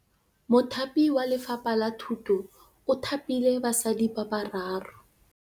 Mothapi wa Lefapha la Thutô o thapile basadi ba ba raro.